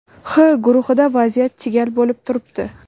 H guruhida vaziyat chigal bo‘lib turibdi.